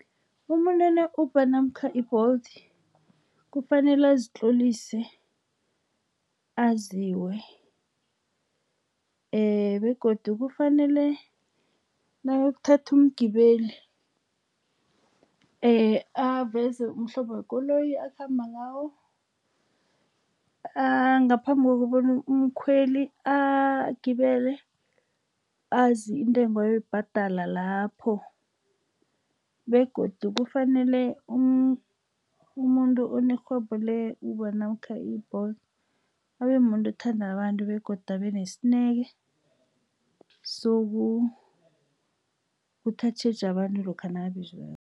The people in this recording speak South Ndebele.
Umuntu one-Uber namkha i-Bolt, kufanele azitlolise, aziwe. Begodu kufanele nawuyokuthatha umgibeli, aveze umhlobo yekoloyi akhamba ngawo. Ngaphambi kokobona umkhweli agibele, azi intengo ayoyibhadala lapho. Begodu kufanele umuntu onerhwebo le-Uber namkha i-Bolt, abe mumuntu othanda nabantu, begodu abe nesineke sokuthi atjheje abantu lokha nakabizwako.